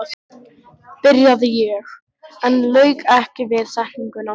byrjaði ég, en lauk ekki við setninguna.